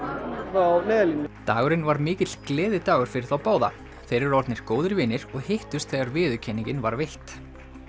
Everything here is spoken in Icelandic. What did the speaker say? frá Neyðarlínunni dagurinn var mikill gleðidagur fyrir þá báða þeir eru orðnir góðir vinir og hittust þegar viðurkenningin var veitt